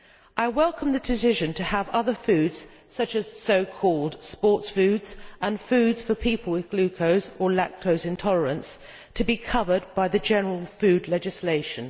I welcome the decision to have other foods, such as so called sports foods and foods for people with gluten or lactose intolerance, covered by the general food legislation.